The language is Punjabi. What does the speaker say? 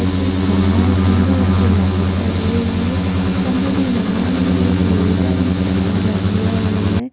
ਇਥੇ ਇਕ ਖੰਬਾ ਏ ਖੰਬੇ ਉੱਤੇ ਲਾਈਟ ਲੱਗ ਹੋਈ ਏ ਖੰਬੇ ਦੇ ਨਾਲ ਹੀ ਲੋਹੇ ਦਾ ਵੀ ਸਟੈਂਡ ਲੱਗਿਆ ਹੋਇਆ।